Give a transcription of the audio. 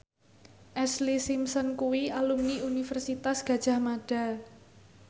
Ashlee Simpson kuwi alumni Universitas Gadjah Mada